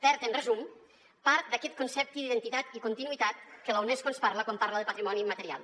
perd en resum part d’aquest concepte d’identitat i continuïtat que la unesco ens parla quan parla de patrimoni immaterial